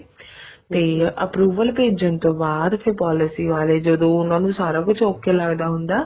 ਵੀ approval ਭੇਜਣ ਤੋਂ ਬਾਅਦ ਫ਼ੇਰ policy ਵਾਲੇ ਜਦੋਂ ਉਹਨਾ ਨੂੰ ਸਾਰਾ ਕੁੱਝ okay ਲੱਗਦਾ ਹੁੰਦਾ